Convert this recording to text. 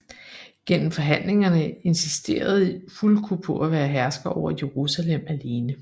Gennem forhandlingerne insisterede Fulko på at være hersker over Jerusalem alene